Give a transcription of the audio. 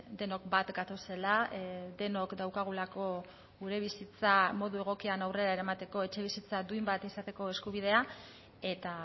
denok bat gatozela denok daukagulako gure bizitza modu egokian aurrera eramateko etxebizitza duin bat izateko eskubidea eta